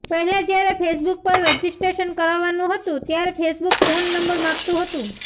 પહેલા જ્યારે ફેસબુક પર રજિસ્ટ્રેશન કરાવવાનું હતું ત્યારે ફેસબુક ફોન નંબર માગતું હતું